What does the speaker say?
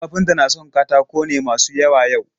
Kafinta na son katako ne masu yawa yau?